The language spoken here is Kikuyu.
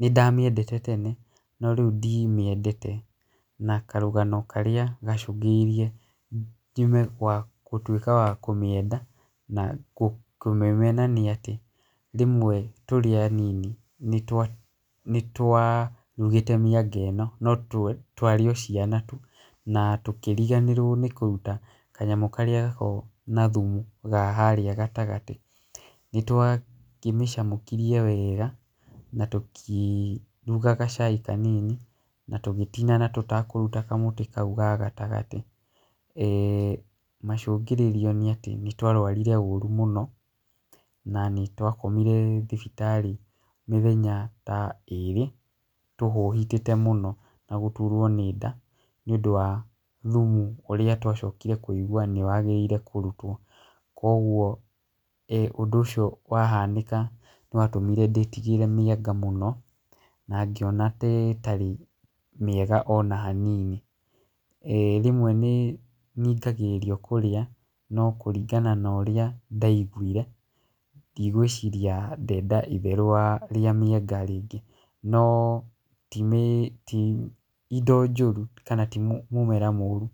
nĩ ndamĩendete tene no rĩu ndimĩendete. Na karũgano karĩa gacũngĩrĩirie njume gwa gũtuĩka wa kũmĩenda na kũmĩmena nĩ atĩ, rĩmwe tũrĩ anini nĩ twarugĩte mĩanga ĩno no twarĩ o ciana tu, na tũkĩriganĩrwo nĩ kũruta kanyamũ karĩa gakoragwo na thumu ga harĩa gatagatĩ. Nĩ twakĩmĩcamũkirie wega, na tũkĩruga gacai kanini, na tũgĩtinana tũtakũruta kamũtĩ kau ga gatagatĩ. Macũngĩrĩrio nĩ atĩ nĩ twarwarire ũru mũno na nĩ twakomire thibitarĩ mĩthenya ta ĩĩrĩ tũhũhitĩte mũno na gũturwo nĩ nda nĩ ũndũ wa thumu ũrĩa twacokire kũigua nĩwagĩrĩire kũrutwo. Koguo ũndũ ũcio wahanĩka nĩwatũmire ndĩtigĩre mĩanga mũno na ngĩona ta ĩtarĩ mĩega ona hanini. Rĩmwe nĩ ningagĩrĩrio kurĩa no kũringana na ũrĩa ndaiguire, ndigwĩciria ndenda itherũ wa, rĩa mĩanga rĩngĩ. No ti indo njũru kana ti mũmera mũru.